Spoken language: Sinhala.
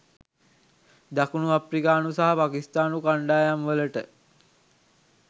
දකුණු අප්‍රිකානු සහ පාකිස්තානු කණ්ඩායම් වලට